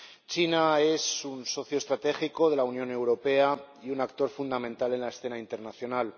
China es un socio estratégico de la Unión Europea y un actor fundamental en la escena internacional.